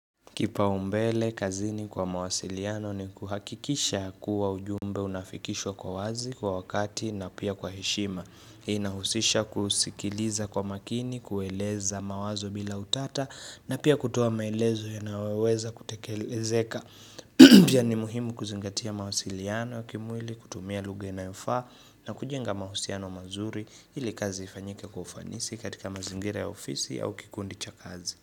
Kipau mbele kazini kwa mawasiliano ni kuhakikisha kuwa ujumbe unafikishwa kwa wazi kwa wakati na pia kwa heshima inahusisha kusikiliza kwa makini, kueleza mawazo bila utata na pia kutoa maelezo ya naweweza kutekelezeka Pia ni muhimu kuzingatia mawasiliano ya kimwili, kutumia lugha inayofaa na kujenga mahusiano mazuri ili kazi ifanyike kwa ufanisi katika mazingira ya ofisi au kikundi cha kazi.